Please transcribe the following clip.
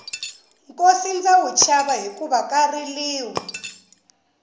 nkosi ndza wu chava hikuva ka riliwa